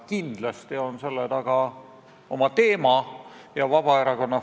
Käisin hiljuti ühes Viljandi toitlustuskohas ja seal ei olnud võimalik saada ei eestikeelset ega venekeelset teenindust.